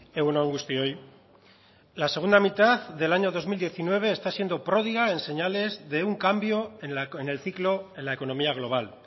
egun on guztioi la segunda mitad del año dos mil diecinueve está siendo prodiga en señales de un cambio en el ciclo en la economía global